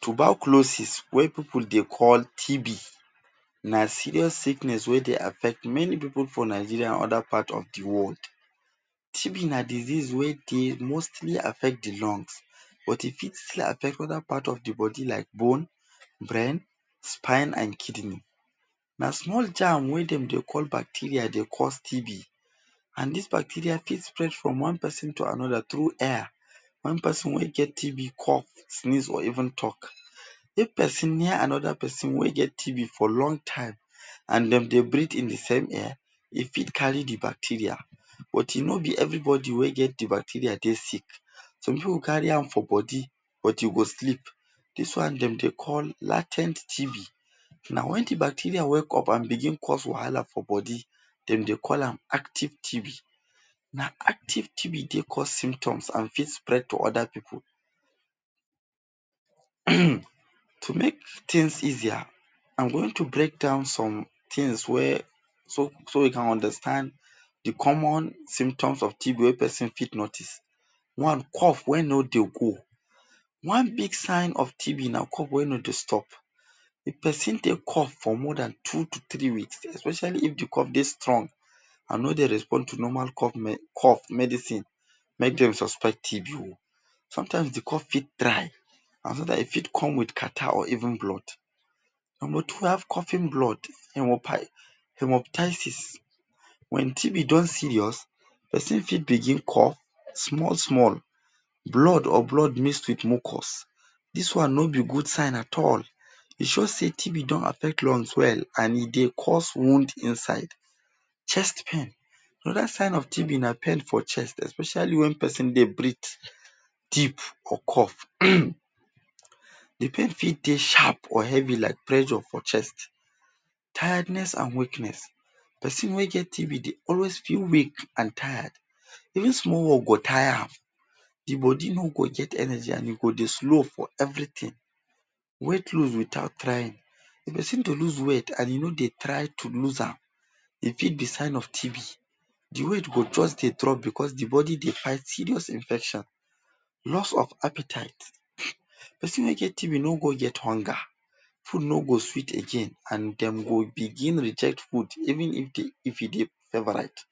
Tuberculosis wey pipu de call TB na serious sickness wey dey affect pipu for Nigeria and other part of the whole world. TB na disease wey de mostly affect lungs, but e fit still affect other part of the body like bone, brain, spine and kidney. Na small germ wey dem dey call bacteria de cause TB and dis bacteria fit spread from one person to another through air wen person wey get TB cough, sneeze or even talk. If person near another person wey get TB for long time and dem dey breath in the same air e fit carry the bacteria. But no be everybody wey carry the bacteria dey sick some pipu carry for body but you go sleep this one den dey call la ten t TB. Na wen the bacteria wake up and begin cause wahala for body, dem dey call am active TB. Na active TB dey cause symptoms and fit spread to other pipu. To make easier am going to breakdown somethings wey so you can understand the common symptoms of TB wey person fit notice, number one cough wey no dey go, one big sign of TB nah cough wey no dey stop. If person dey cough for more dan two to three weeks especially if the cough dey strong and no dey respond to normal cough medicine. Make den suspect TB o, sometimes the cough fit dry and sometimes e fit come with catarrh or even blood and without coughing blood. Number two we have coughing blood hermop hemoptysis wen TB don serious, person fit begin cough small small blood or blood mixed with mucus this one no be good sign at all e show sey TB affect lungs well and e de cause wound inside. Chest pain, another sign of TB nah pain for chest especially when person de breathe deep or cough um the pain fit de sharp or heavy like pressure for chest. Tiredness and weakness, person wey get TB de always feel weak and tired any small work, go tire am the body no go get energy and e go de slow for everything. Weight lose without trying persin dey lose weight and e no dey try to lose am e fit be sign of TB the weight go just de drop because the person dey fight serious infection. Loss of appetite, person wey get TB no go get hunger, food no go sweet again and dem go begin reject food even if e be if e dem favorite.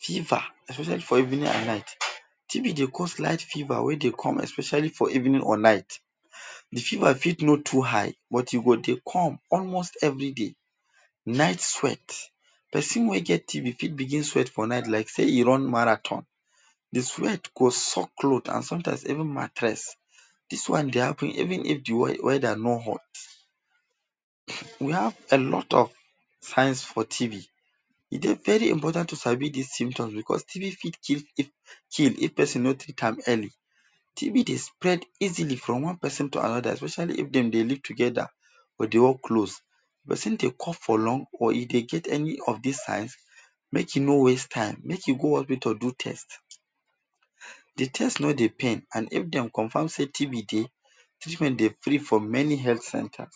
Fever, especially for evening and night TB de cause slight fever wey de come especially for evening or night, the fever fit no too high but e go de come almost every day. Night sweat person wey get TB fit begin sweat for night like say e run marathon the sweat go soak clothes and sometimes even mattress dis one de happen even if the weather no hot. We have a lot of signs for TB e de very important to sabi dis symptoms because TB fit kill kill if person no treat amm early. TB de spread easily from one person to another especially if dem de live together or dem de close. Person de cough for long or e get any of dis sign make e no waste time make go hospital do test. The test no de pain and if dem confirm sey TB dey, treatment de free for many health centers.